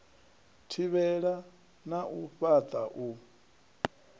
thivhela na u fhaṱa u